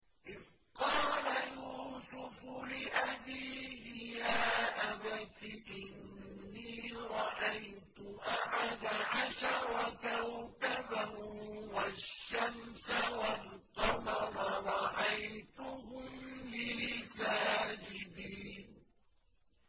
إِذْ قَالَ يُوسُفُ لِأَبِيهِ يَا أَبَتِ إِنِّي رَأَيْتُ أَحَدَ عَشَرَ كَوْكَبًا وَالشَّمْسَ وَالْقَمَرَ رَأَيْتُهُمْ لِي سَاجِدِينَ